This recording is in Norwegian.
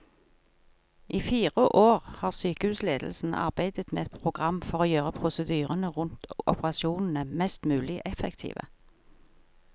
I fire år har sykehusledelsen arbeidet med et program for å gjøre prosedyrene rundt operasjonene mest mulig effektive.